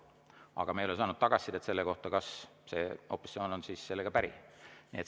Aga me ei ole saanud tagasisidet, kas opositsioon on sellega päri.